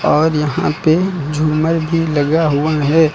और यहां पे झूमर भी लगा हुआ है।